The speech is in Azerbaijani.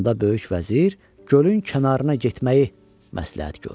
Onda böyük vəzir gölün kənarına getməyi məsləhət gördü.